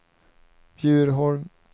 Bjurholm